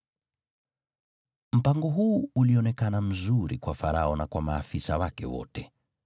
Mpango huu ulionekana mzuri kwa Farao na kwa maafisa wake wote.